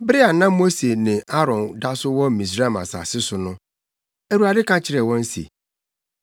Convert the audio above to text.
Bere a na Mose ne Aaron da so wɔ Misraim asase so no, Awurade ka kyerɛɛ wɔn se,